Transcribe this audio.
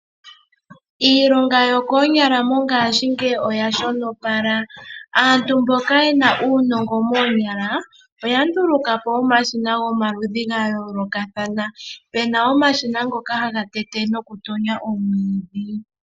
No ngaa shingeyi aantu ohaya longitha omambakumbaku . Omambakumbaku oga pu no kulongitgwa goo ihaga manapo ethimbo nando.